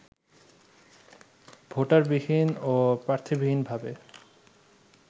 ভোটারবিহীন ও প্রার্থীবিহীনভাবে